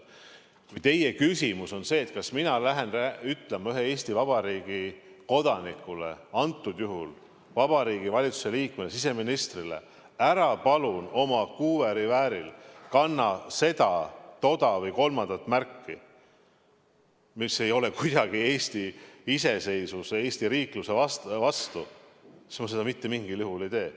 Kui teie küsimus on see, kas mina lähen ütlema ühele Eesti Vabariigi kodanikule, antud juhul Vabariigi Valitsuse liikmele, siseministrile, et ära palun oma kuuerevääril kanna seda, toda või kolmandat märki, mis ei ole kuidagi Eesti iseseisvuse või Eesti riikluse vastu, siis ma seda mitte mingil juhul ei tee.